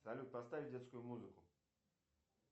салют поставь детскую музыку